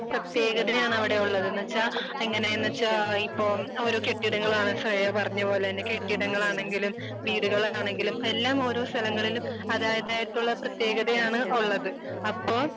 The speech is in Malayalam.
പ്രതേകതയാണ് അവിടെ ഉള്ളത്. എന്ന് വെച്ചാൽ എങ്ങനെന്ന് വെച്ചാൽ ഇപ്പോൾ ഓരോ കെട്ടിടങ്ങളാണ് ശ്രേയ പറഞ്ഞ പോലെ തന്നെ കെട്ടിടങ്ങളാണെങ്കിലും വീടുകളാണെങ്കിലും എല്ലാം ഓരോ സ്ഥലങ്ങളില് അതായതായിട്ടുള്ള പ്രതേകതയാണ് ഉള്ളത്. അപ്പോ